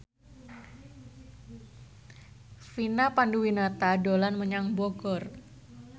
Vina Panduwinata dolan menyang Bogor